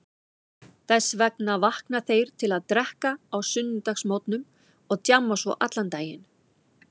Þess vegna vakna þeir til að drekka á sunnudagsmorgnum og djamma svo allan daginn.